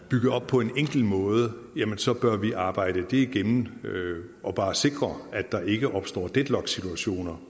bygget op på en enkel måde så bør vi arbejde det igennem og bare sikre at der ikke opstår deadlocksituationer